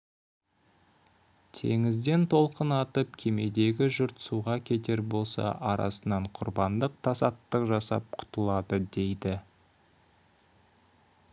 теңізден толқын атып кемедегі жұрт суға кетер болса арасынан құрбандық тасаттық жасап құтылады дейді